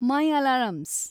my alarms